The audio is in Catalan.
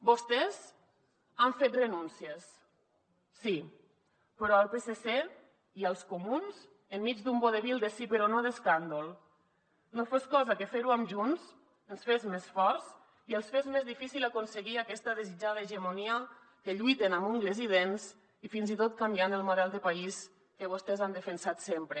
vostès han fet renúncies sí però al psc i als comuns enmig d’un vodevil de sí però no d’escàndol no fos cosa que fer ho amb junts ens fes més forts i els fes més difícil aconseguir aquesta desitjada hegemonia que lluiten amb ungles i dents i fins i tot canviant el model de país que vostès han defensat sempre